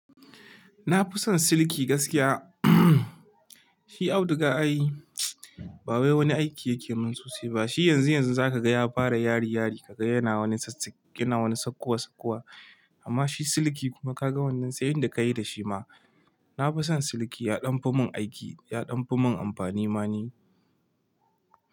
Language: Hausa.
Na fi son siliki gaskiya shi auduga ai ba wai wani aiki yake min sosai ba. Shi yanzu yanzu za ka ga ya fara yari yari, ka ga yana wani sassak yana wani saƙƙowa saƙkowa amma shi siliki kuma ka ga wannan sai yanda ka yi da shi ma. Na fi son siliki ya ɗanfi mun aiki, ya ɗanfi mun amfani ma ni.